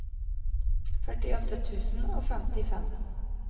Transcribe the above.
førtiåtte tusen og femtifem